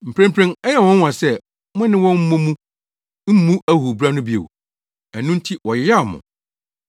Mprempren ɛyɛ wɔn nwonwa sɛ mo ne wɔn mmɔ mu mmu ahuhubra no bio, ɛno nti wɔyeyaw mo.